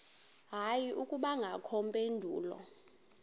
hayi akubangakho mpendulo